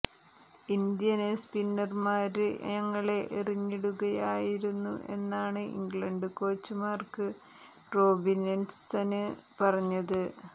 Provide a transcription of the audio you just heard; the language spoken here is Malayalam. ഇന്ത്യന് സ്പിന്നര്മാര് ഞങ്ങളെ എറിഞ്ഞിടുകയായിരുന്നു എന്നാണ് ഇംഗ്ലണ്ട് കോച്ച് മാര്ക്ക് റോബിന്സന് പറഞ്ഞത്